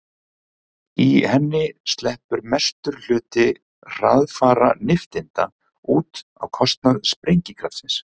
í henni sleppur mestur hluti hraðfara nifteindanna út á kostnað sprengikraftsins